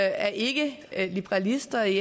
er ikke liberalister i